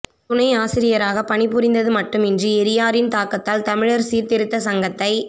துணையாசிரியராகப் பணி புரிந்தது மட்டுமின்றி எரியாரின் தாக்கத்தால் தமிழர் சீர் திருத்தச் சங்கத்தை